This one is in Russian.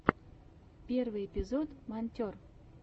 первый эпизод монтер